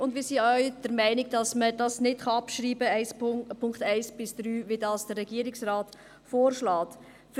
Auch wir sind der Meinung, die Punkte 1 bis 3 können nicht abgeschrieben werden, wie vom Regierungsrat vorgeschlagen.